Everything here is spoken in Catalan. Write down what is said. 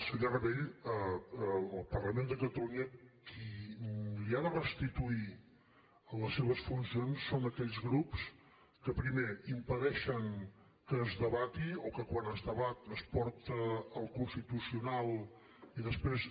senyor rabell al parlament de catalunya qui li ha de restituir les seves funcions són aquells grups que primer impedeixen que es debati o que quan es debat es porta al constitucional i després